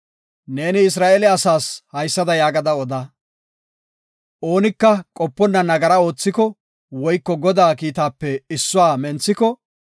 Neeni Isra7eele asaas haysada yaagada oda; oonika qoponna nagara oothiko woyko Godaa kiitatape issuwa menthiko,